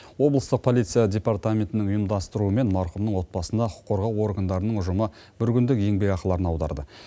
облыстық полиция департаментінің ұйымдастыруымен марқұмның отбасына құқық қорғау органдарының ұжымы бір күндік еңбек ақыларын аударды